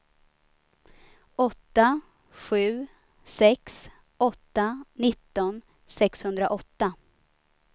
åtta sju sex åtta nitton sexhundraåtta